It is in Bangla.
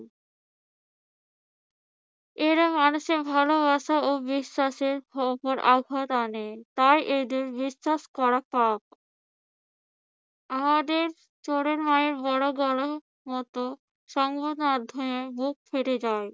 এরা মানুষের ভালোবাসা ও বিশ্বাসের উপর আঘাত হানে। তাই এদের বিশ্বাস করা পাপ। আমাদের চোরের মায়ের বড় গলা মত সংবাদ মাধ্যমে বুক ফেটে যায়।